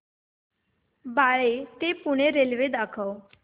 बाळे ते पुणे रेल्वे दाखव